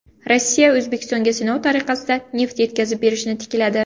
Rossiya O‘zbekistonga sinov tariqasida neft yetkazib berishni tikladi.